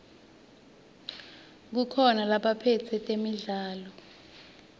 kukhona labaphetse temidlalo